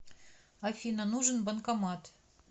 афина нужен банкомат